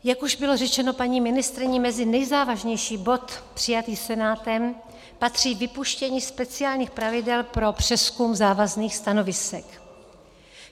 Jak už bylo řečeno paní ministryní, mezi nejzávažnější bod přijatý Senátem patří vypuštění speciálních pravidel pro přezkum závazných stanovisek.